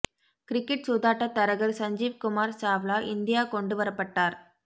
cricket சூதாட்டத் தரகர் Sanjeev Kumar Chawla India கொண்டு வரப்பட்டார்